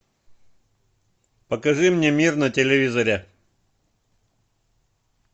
покажи мне мир на телевизоре